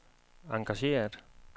engageret